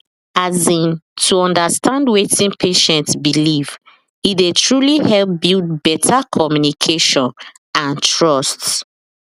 as in to understand wetin patient beleive ine dey truly help build better communication and trust